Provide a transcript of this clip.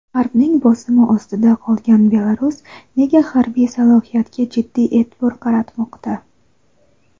G‘arbning bosimi ostida qolgan Belarus nega harbiy salohiyatga jiddiy e’tibor qaratmoqda?.